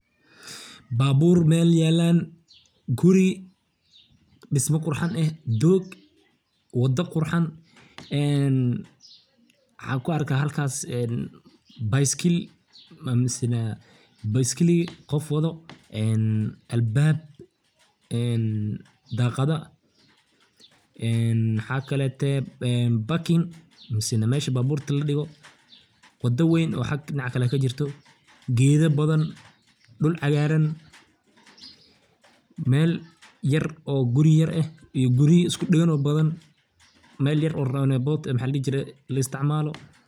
Baabur Mel yalan, guri dhisma qurxan eh, doog, wada qurxan ee waxan ku arka halkaas bayskil misana baiskili qof waado en albab en daqada en waxa kalete parking mise meshi gaarida ladhigo, wada weyn oo xag dhinaca kale kajirto, geda badan dhul caagaran Mel yar oo guri yar eh iyo guriya isku dhegan oo badan, Mel yar oo roundabout eh maxa ladhihi jire la isticmaalo